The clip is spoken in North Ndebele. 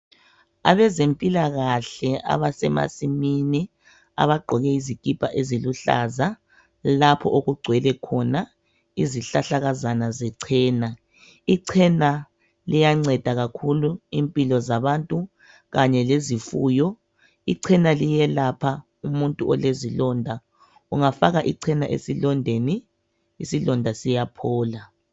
Abezempilakahle abasemasimini abagqoke izikipa eziluhlaza lapho okugcwele khona isihlahlakazana zechena ichena liyanceda kakhulu impilo zabantu kanye lezifuyo ichena liyelapha umuntu olezilonda ungafaka ichena esilondeni isilonda siyaphola